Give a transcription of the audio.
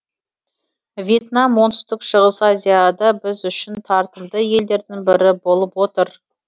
вьетнам оңтүстік шығыс азияда біз үшін тартымды елдердің бірі болып отыр